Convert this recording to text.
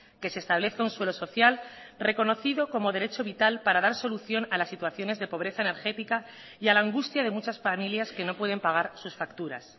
que se establezca un suelo social reconocido como derecho vital para dar solución a las situaciones de pobreza energética y a la angustia de muchas familias que no pueden pagar sus facturas